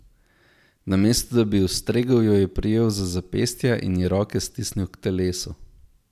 Namesto da bi ji ustregel, jo je prijel za zapestja in ji roke stisnil k telesu.